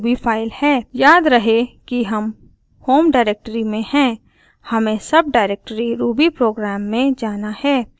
याद रहे कि हम होम डाइरेक्टरी में हैं हमें सबडाइरेक्टरी rubyprogram में जाना है